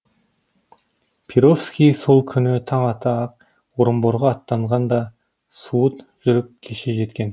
перовский сол күні таң ата ақ орынборға аттанған да суыт жүріп кеше жеткен